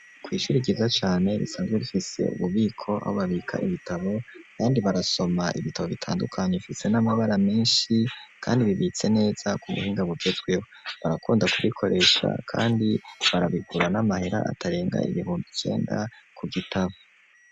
Kw' ishuri kiza cane risanzwe rifise ububiko ahobabika ibitabo, kandi barasoma ibitabo bitandukanye bifise n'amabara menshi kandi bibitse neza kubuhinga bugezweho ,barakunda kubikoresha kandi barabigura n'amahera atarenga ibihumbi cenda ku gitabo.